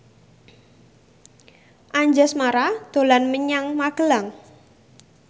Anjasmara dolan menyang Magelang